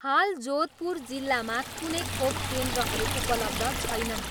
हाल जोधपुर जिल्लामा कुनै खोप केन्द्रहरू उपलब्ध छैनन्।